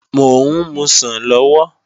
Mò ń musàn lọ́wọ́